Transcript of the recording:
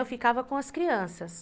Eu ficava com as crianças.